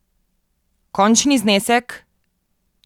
Končni znesek?